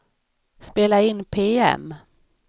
spela in PM